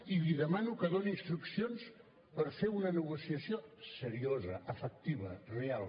i li demano que doni instruccions per fer una negociació seriosa efectiva real